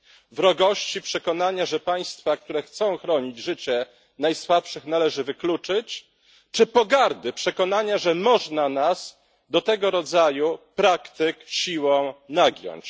Wrogości przekonania, że państwa, które chcą chronić życie najsłabszych, należy wykluczyć, czy pogardy przekonania, że można nas do tego rodzaju praktyk siłą nagiąć?